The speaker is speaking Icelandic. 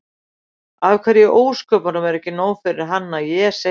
Af hverju í ósköpunum er ekki nóg fyrir hann að ég segi